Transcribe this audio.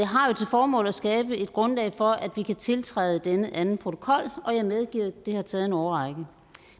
formål at skabe et grundlag for at vi kan tiltræde denne anden protokol og jeg medgiver at det har taget en årrække